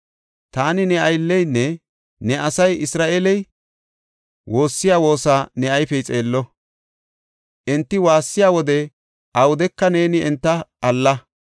“Taani ne aylleynne ne asay Isra7eeley woossiya woosa ne ayfey xeello. Enti waassiya wode awudeka neeni enta alla.